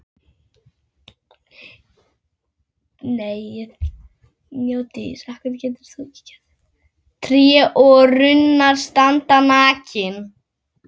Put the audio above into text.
Tré og runnar standa nakin.